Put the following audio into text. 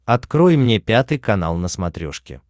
открой мне пятый канал на смотрешке